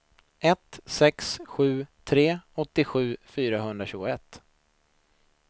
ett sex sju tre åttiosju fyrahundratjugoett